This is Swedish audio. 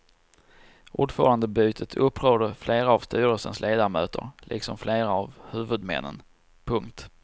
Ordförandebytet upprörde flera av styrelsens ledamöter liksom flera av huvudmännen. punkt